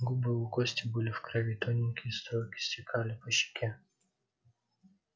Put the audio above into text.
губы у кости были в крови тоненькие струйки стекали по щеке